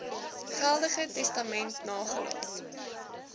geldige testament nagelaat